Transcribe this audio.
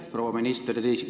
Proua minister!